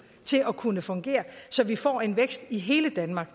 til at kunne fungere så vi får en vækst i hele danmark